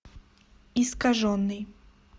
искаженный